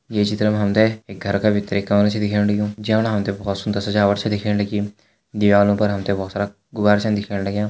ये चित्र मां हमते एक घर का भितर दिखेण लग्युं जैमा हमते भौत सुन्दर सजावट छ दिखेण लगीं दीवारों पर हमते बहुत सारा गुब्बारा छन दिखेण लग्यां।